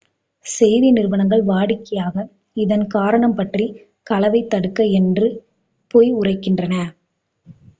"செய்தி நிறுவனங்கள் வாடிக்கையாக இதன் காரணம் பற்றி "களவைத் தடுக்க" என்று பொய் உரைக்கின்றன.